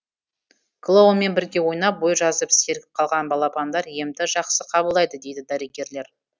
клоунмен бірге ойнап бой жазып сергіп қалған балапандар емді жақсы қабылдайды дейді дәрігерлер